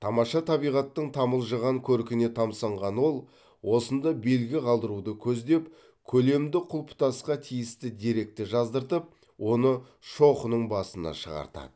тамаша табиғаттың тамылжыған көркіне тамсанған ол осында белгі қалдыруды көздеп көлемді құлпытасқа тиісті деректі жаздыртып оны шоқының басына шығартады